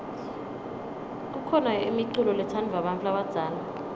kukhona imiculo letsandvwa bantfu labadzala